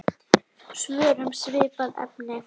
Svör um svipað efni